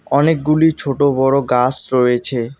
অনেকগুলি ছোটো বড়ো গাস রয়েছে।